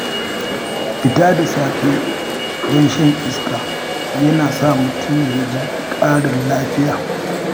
Fita da safe don shan iska yana sa mutum ya ji ƙarin lafiya.